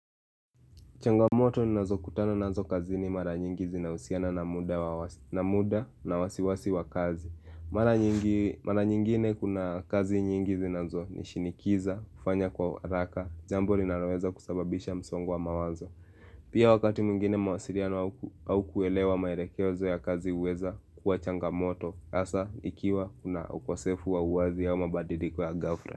Changamoto nazo kutano nazo kazi ni mara nyingi zinausiana na muda na wasiwasi wa kazi. Mara nyingine kuna kazi nyingi zinazo nishinikiza, ufanya kwa raka, jambu rinaloweza kusababisha msongo wa mawazo. Pia wakati muingine mawasiriano au kuelewa maerekewezo ya kazi uweza kuwa changamoto, asa ikiwa kuna ukosefu wa uwazi ya mabadidiriko ya gafra.